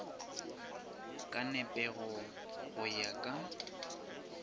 ka nepego go ya ka